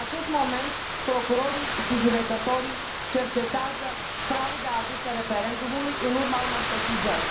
În acest moment, procurorii si judecătorii cercetează fraude aduse referendumului, în urma unor sesizări.